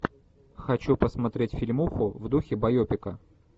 хочу посмотреть фильмуху в духе байопика